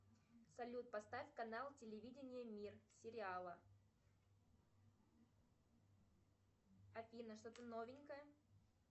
салют поставь канал телевидение мир сериала афина что то новенькое